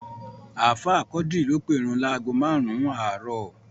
Ààfáà Quadri ló pèrun láágo márùn-ún àárọ̀